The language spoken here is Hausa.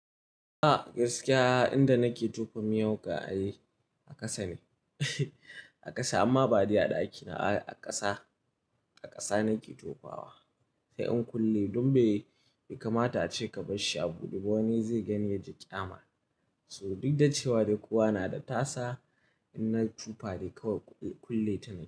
A gaskiya inda nake tofa miyau ga a yi a ƙasa ne, a ƙasa amma bade a ɗakina a ƙasa, a ƙasa nake tofawa. Sai in kulle duk bai kamata ace ka barshi a buɗe ba wani zai gani ya ji ƙyama. Saboda duk da cewa da kuwa na da tasa in na tufa dai kawai kulle ta na.